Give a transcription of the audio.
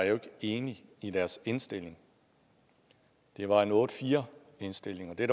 enig i deres indstilling det var en otte fire indstilling og det